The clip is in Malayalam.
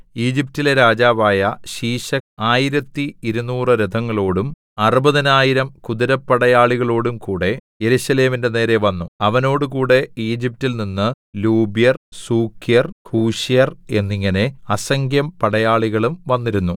ഈജിപ്റ്റിലെ രാജാവായ ശീശക്ക് ആയിരത്തി ഇരുനൂറ് രഥങ്ങളോടും അറുപതിനായിരം കുതിരപ്പടയാളികളോടുംകൂടെ യെരൂശലേമിന്റെ നേരെ വന്നു അവനോടുകൂടെ ഈജിപ്റ്റിൽ നിന്ന് ലൂബ്യർ സൂക്യർ കൂശ്യർ എന്നിങ്ങനെ അസംഖ്യം പടയാളികളും വന്നിരുന്നു